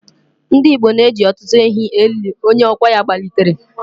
Ndigbo na-eji ọtụtụ ehi elu onye ọkwa ya gbalitere.